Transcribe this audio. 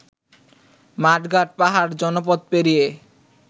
মাঠ-ঘাট-পাহাড়-জনপদ পেরিয়ে